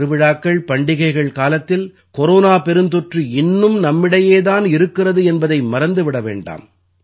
திருவிழாக்கள் பண்டிகைகள் காலத்தில் கொரோனா பெருந்தொற்று இன்னும் நம்மிடையே தான் இருக்கிறது என்பதை மறந்து விட வேண்டாம்